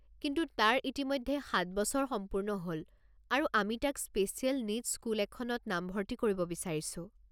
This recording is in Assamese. কিন্তু তাৰ ইতিমধ্যে সাত বছৰ সম্পূৰ্ণ হ'ল আৰু আমি তাক স্পেচিয়েল নীডছ স্কুল এখনত নামভৰ্তি কৰিব বিচাৰিছো।